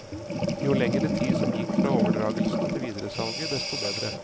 Jo lengre tid som gikk fra overdragelsen til videresalget, desto bedre.